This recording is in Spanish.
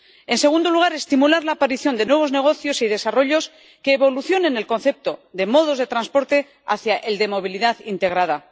En segundo lugar, estimular la aparición de nuevos negocios y desarrollos que evolucionen el concepto de modos de transporte hacia el de movilidad integrada.